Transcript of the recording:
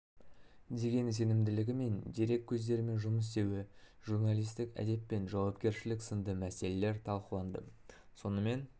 деген сенімділігі мен дерек көздерімен жұмыс істеуі журналистік әдеп пен жауапкершілік сынды мәселелер талқыланды сонымен